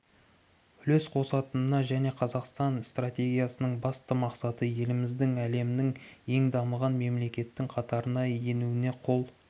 үлес қосатынына және қазақстан стратегиясының басты мақсаты еліміздің әлемнің ең дамыған мемлекеттің қатарына енуіне қол